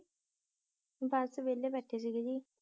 ਬੱਸ ਵੇਲ਼ੇ ਬੈਠੇ ਸੀਗੇ ਜੀ